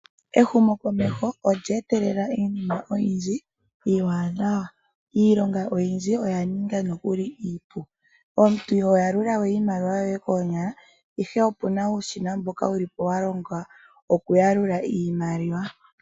Ehumokomeho olye etelela iinima oyindji iiwanawa. Iilonga oyindji oya ninga nokuli iipu. Omuntu iho yalula iimaliwa koonyala okakele okuna uushina wokuyalula.